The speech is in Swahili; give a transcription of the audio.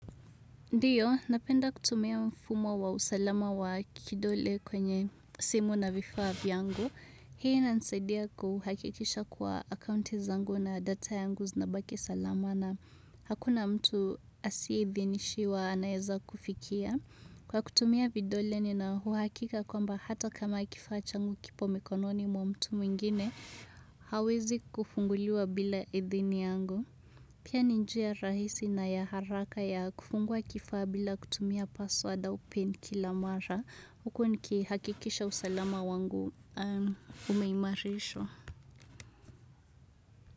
Ndio, napenda kutumia mfumo wa usalama wa kidole kwenye simu na vifaa vyangu. Hii inanisaidia kuhakikisha kuwa akaunti zangu na data yangu zinabaki salama na hakuna mtu asiye idhinishiwa anaeza kufikia. Kwa kutumia vidole nina uhakika kwamba hata kama kifaa changu kipo mikononi mwa mtu mwingine, hawezi kufunguliwa bila idhini yangu. Pia ni njia rahisi na ya haraka ya kufungua kifaa bila kutumia password au pin kila mara, huku nikihakikisha usalama wangu umeimarishwa.